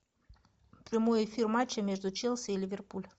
прямой эфир матча между челси и ливерпуль